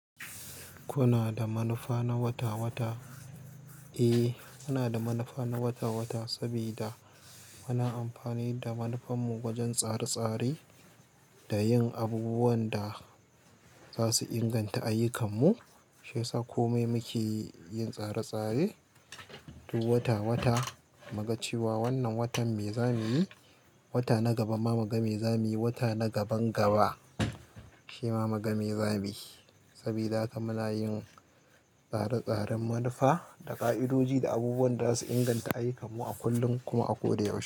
Kuna da manufa na wata-wata? Eh, muna da manufa na wata-wata sabida muna amfani da manufanmu wajen tsare-tsare da yin abubuwan da za su inganta ayyukan mu. Shiyasa kome yin tsare-tsare duk wata-wata mu ga cewa wannan watan me za muyi wata na gaba ma mu ga me zamuyi wata na gaban gaba shima muga me zamuyi sabida haka muna yin tsare-tsaren manufa da ƙa'idodi da abubuwan da za su inganta ayyukanmu a kullum kuma a ko da yaushe.